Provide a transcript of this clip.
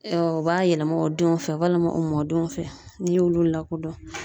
u b'a yɛlɛma o denw fɛ walima o mɔdenw fɛ n'i y'olu lakodɔn.